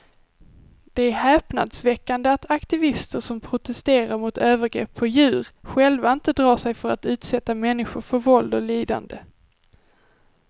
Det är häpnadsväckande att aktivister som protesterar mot övergrepp på djur själva inte drar sig för att utsätta människor för våld och lidande.